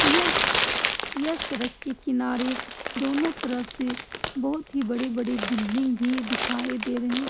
यह यह सड़क के किनारे दोनो तरफ से बहुत ही बड़ी-बड़ी बिल्डिंग भी दिखाई दे रहे --